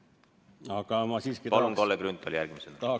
Aga ma siiski tahaks nagu öelda 345 kohta.